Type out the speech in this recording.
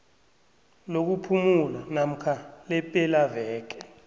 lokuphumula namkha lepelaveke